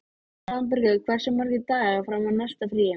Svanbergur, hversu margir dagar fram að næsta fríi?